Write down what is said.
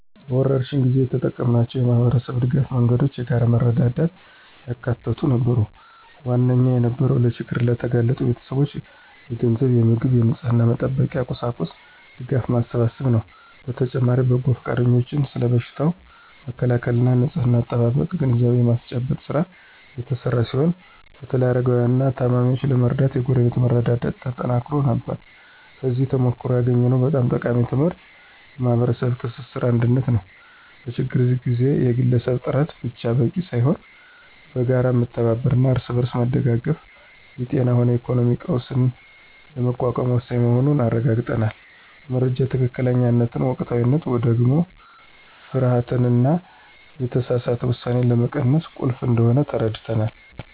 በወረርሽኝ ጊዜ የተጠቀምናቸው የማኅበረሰብ ድጋፍ መንገዶች የጋራ መረዳዳትን ያካተቱ ነበሩ። ዋነኛው የነበረው ለችግር ለተጋለጡ ቤተሰቦች የገንዘብ፣ የምግብና የንጽሕና መጠበቂያ ቁሳቁስ ድጋፍ ማሰባሰብ ነው። በተጨማሪም በጎ ፈቃደኞች ስለ በሽታው መከላከልና ንጽሕና አጠባበቅ ግንዛቤ የማስጨበጥ ሥራ የተሰራ ሲሆን በተለይም አረጋውያንንና ታማሚዎችን ለመርዳት የጎረቤት መረዳዳት ተጠናክሮ ነበር። ከዚህ ተሞክሮ ያገኘነው በጣም ጠቃሚ ትምህርት የማኅበረሰብ ትስስርና አንድነት ነው። በችግር ጊዜ የግለሰብ ጥረት ብቻ በቂ ሳይሆን በጋራ መተባበርና እርስ በርስ መደጋገፍ የጤናም ሆነ የኢኮኖሚ ቀውስን ለመቋቋም ወሳኝ መሆኑን አረጋግጠናል። የመረጃ ትክክለኛነትና ወቅታዊነት ደግሞ ፍርሃትንና የተሳሳተ ውሳኔን ለመቀነስ ቁልፍ እንደሆነ ተረድተናል።